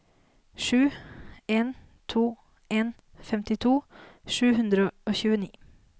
sju en to en femtito sju hundre og tjueni